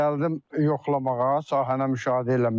Gəldim yoxlamağa sahəni müşahidə eləməyə.